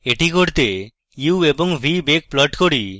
এটি করতে u এবং v বেগ প্লট করি